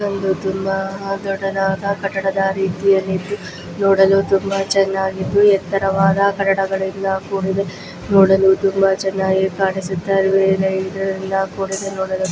ಇದೊಂದು ತುಂಬಾ ದೊಡ್ಡದಾದ ಕಟ್ಟಡದ ರೀತಿಯಲ್ಲಿ ನೋಡಲು ತುಂಬಾ ಚೆನ್ನಾಗಿದ್ದು ಎತ್ತರವಾದ ಕಟ್ಟಡಗಳಿಂದ ಕೂಡಿದೆ ನೋಡಲು ತುಂಬಾ ಚೆನ್ನಾಗಿದೆ ತುಂಬಾ ಚೆನ್ನಾಗಿ ಕಾಣಿಸುತ್ತಿದೆ. ಕೂಡಿದೆ ನೋಡಲು--